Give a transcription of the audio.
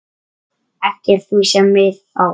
eftir því sem við á.